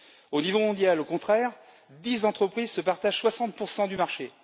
Au niveau mondial, au contraire, dix entreprises se partagent 60 du marché.